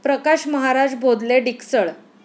Prakash Maharaj Bodhle, Diksal